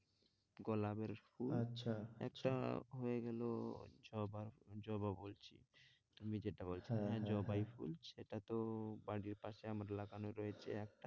গোলাপের ফুল আচ্ছা আচ্ছা একটা হয়েগেলো জবার জবা বলছি তুমি যেটা বলছো হ্যাঁ, হ্যাঁ জবাই ফুল সেটাতো বাড়ির পাশে আমাদের লাগানোই রয়েছে একটা,